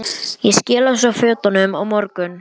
Ég skila svo fötunum á morgun.